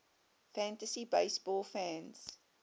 fantasy baseball fans